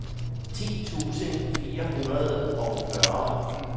ti tusind fire hundrede og fyrre